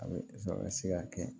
A bɛ sɔrɔ a ka se ka kɛ